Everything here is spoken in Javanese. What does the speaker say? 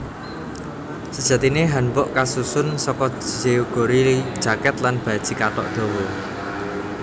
Sejatine hanbok kasusun saka jeogori jaket lan baji kathok dawa